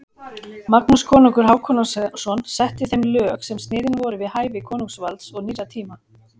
Magnús konungur Hákonarson setti þeim lög sem sniðin voru við hæfi konungsvalds og nýrra tíma.